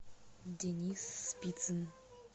денис спицын